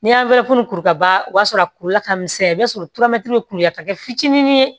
Ni y'an kuru ka ban o b'a sɔrɔ a kurula ka misɛn i bɛ sɔrɔ bɛ kuru la ka kɛ fitinin ye